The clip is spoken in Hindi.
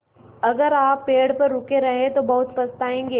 अगर आप पेड़ पर रुके रहे तो बहुत पछताएँगे